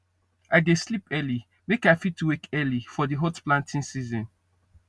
i dey sleep early make i fit wake early for di hot planting season